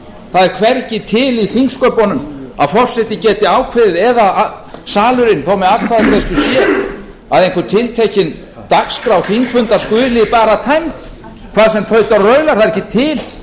það er hvergi til í þingsköpunum að forseti geti ákveðið eða eða salurinn þó með atkvæðagreiðslu sé að einhver tiltekin dagskrá þingfundar skuli bara tæmd hvað sem tautar og raular það er ekki til